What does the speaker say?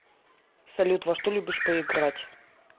салют во что любишь поиграть